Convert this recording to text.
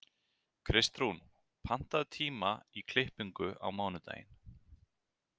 Kristrún, pantaðu tíma í klippingu á mánudaginn.